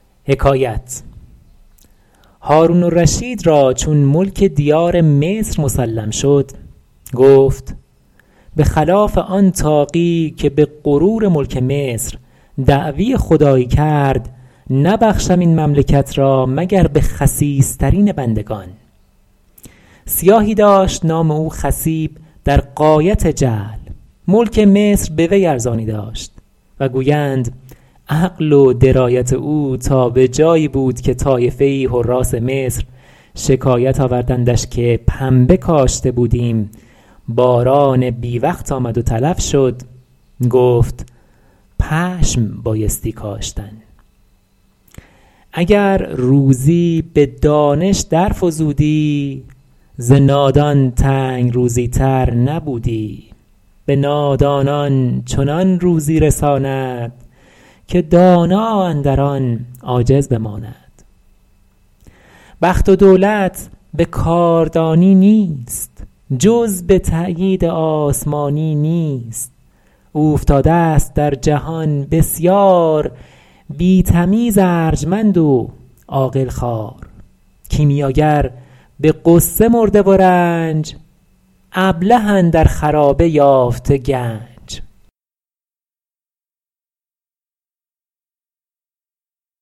هارون الرشید را چون ملک دیار مصر مسلم شد گفت به خلاف آن طاغی که به غرور ملک مصر دعوی خدایی کرد نبخشم این مملکت را مگر به خسیس ترین بندگان سیاهی داشت نام او خصیب در غایت جهل ملک مصر به وی ارزانی داشت و گویند عقل و درایت او تا به جایی بود که طایفه ای حراث مصر شکایت آوردندش که پنبه کاشته بودیم باران بی وقت آمد و تلف شد گفت پشم بایستی کاشتن اگر دانش به روزی در فزودی ز نادان تنگ روزی تر نبودی به نادانان چنان روزی رساند که دانا اندر آن عاجز بماند بخت و دولت به کاردانی نیست جز به تأیید آسمانی نیست اوفتاده ست در جهان بسیار بی تمیز ارجمند و عاقل خوار کیمیاگر به غصه مرده و رنج ابله اندر خرابه یافته گنج